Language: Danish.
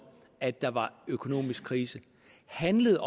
at der var økonomisk krise handlede